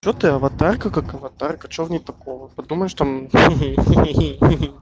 что ты аватарка как аватарка что в ней такого потому что там хи-хи